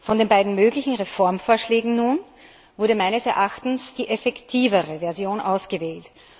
Von den beiden möglichen Reformvorschlägen wurde nun meines Erachtens die effektivere Version ausgewählt.